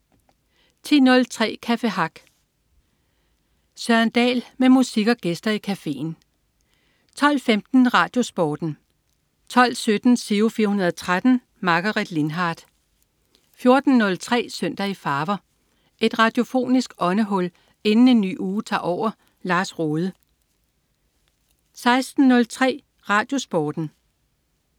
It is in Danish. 10.03 Café Hack. Søren Dahl med musik og gæster i cafeen 12.15 RadioSporten 12.17 Giro 413. Margaret Lindhardt 14.03 Søndag i farver. Et radiofonisk åndehul inden en ny uge tager over. Lars Rohde 16.03 RadioSporten